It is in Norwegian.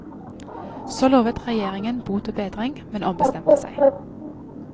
Så lovet regjeringen bot og bedring, men ombestemte seg.